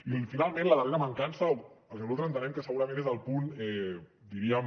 i finalment la darrera mancança el que nosaltres entenem que segurament és el punt diríem